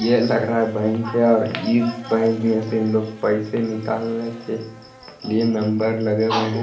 यह लग रहा है बैंक है और इ बैंक में से लोग पैसे निकालने के लिए नंबर लगे हुए हैं।